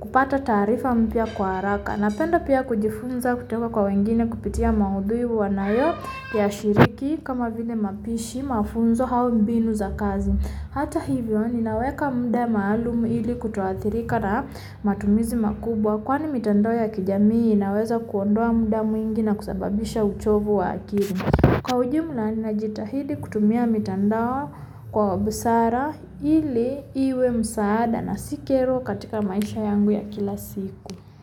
kupata taarifa mpya kwa haraka Napenda pia kujifunza kutoka kwa wengine kupitia maudhui wanayoyashiriki kama vile mapishi mafunzo hau mbinu za kazi Hata hivyo, ninaweka muda maalumu ili kutoathirika na matumizi makubwa kwani mitandao ya kijamii inaweza kuondoa muda mwingi na kusababisha uchovu wa akiri Kwa ujula ninajitahidi kutumia mitandao kwa wa busara ili iwe msaada na si kero katika maisha yangu ya kila siku.